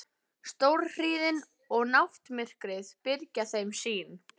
Stórhríðin og náttmyrkrið byrgja þeim sýn.